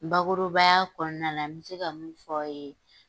Bakurubaya kɔnɔna na n bɛ se ka mun fɔ a' ye.